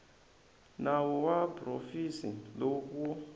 nawu wa provhinsi lowu wu